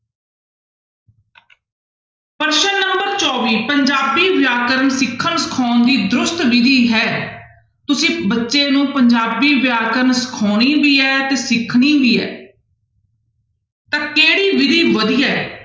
ਪ੍ਰਸ਼ਨ number ਚੌਵੀ ਪੰਜਾਬੀ ਵਿਆਕਰਨ ਸਿੱਖਣ ਸਿਖਾਉਣ ਦੀ ਦਰੁਸਤ ਵਿਧੀ ਹੈ ਤੁਸੀਂ ਬੱਚੇ ਨੂੰ ਪੰਜਾਬੀ ਵਿਆਕਰਨ ਸਿਖਾਉਣੀ ਵੀ ਹੈ ਤੇ ਸਿਖਣੀ ਵੀ ਹੈ ਤਾਂ ਕਿਹੜੀ ਵਿਧੀ ਵਧੀਆ ਹੈ?